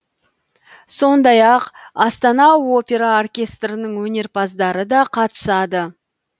сондай ақ астана опера оркестрінің өнерпаздары да қатысады